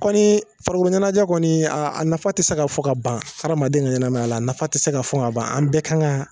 Kɔni farikoloɲanajɛ kɔni nafa tɛ se ka fɔ fo ka ban hadamaden ka ɲɛnamaya la a nafa tɛ se ka fɔ ka ban an bɛɛ kan